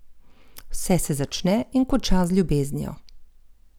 Vse se začne in konča z ljubeznijo!